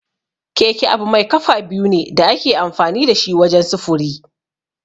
Keke abu mai kafa biyu ne da ake amfani da shi wajen sufuri.